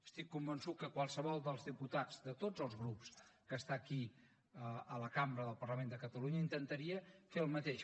estic convençut que qualsevol dels diputats de tots els grups que està aquí a la cambra del parlament de catalunya intentaria fer el mateix